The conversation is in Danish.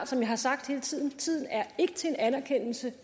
som jeg har sagt hele tiden tiden er ikke til en anerkendelse